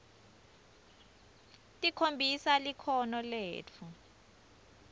tikhombisa likhono letfu